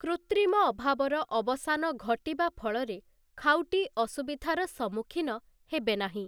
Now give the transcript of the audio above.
କୃୃତ୍ରିମ ଅଭାବର ଅବସାନ ଘଟିବା ଫଳରେ ଖାଉଟି ଅସୁବିଧାର ସମ୍ମୁଖୀନ ହେବେ ନାହିଁ ।